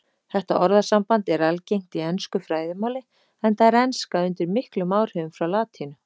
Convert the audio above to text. Þetta orðasamband er algengt í ensku fræðimáli enda er enska undir miklum áhrifum frá latínu.